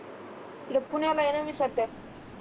पुण्याला आहे न मी सद्ध्या